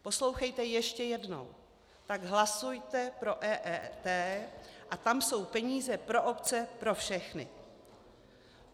- Poslouchejte ještě jednou: Tak hlasujte pro EET a tam jsou peníze pro obce, pro všechny.